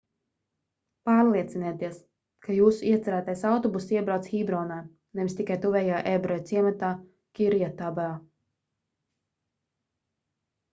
pārliecinieties ka jūsu iecerētais autobuss iebrauc hībronā nevis tikai tuvējā ebreju ciematā kirjatarbā